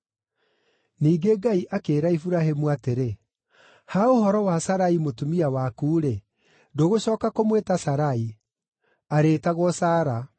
Ningĩ Ngai akĩĩra Iburahĩmu atĩrĩ, “Ha ũhoro wa Sarai mũtumia waku-rĩ, ndũgũcooka kũmwĩta Sarai; arĩĩtagwo Sara.